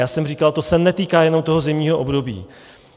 Já jsem říkal, to se netýká jenom toho zimního období.